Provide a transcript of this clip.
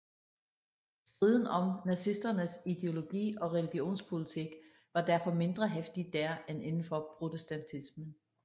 Striden om nazisternes ideologi og religionspolitik var derfor mindre heftig dér end inden for protestantismen